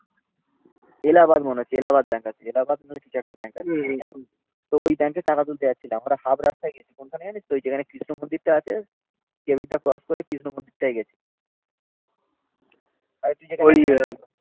এলাহাবাদ মনে হচ্ছে এলাহাবাদ ব্যাঙ্ক আছে এলাহাবাদ নাহলে কিছু একটা ব্যাঙ্ক আছে তো ওই ব্যাংকে টাকা তুলতে যাচ্ছিলাম. আমরা হাফ রাস্তায় গেছি. কোনখানে জানিস তো? ওই যেখানে কৃষ্ণ মন্দিরটা আছে. কেবিনটা ক্রস করে কৃষ্ণ মন্দিরটায় গেছি